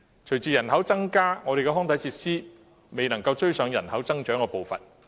隨着人口增加，我們的康體設施卻未能追上人口增長的步伐。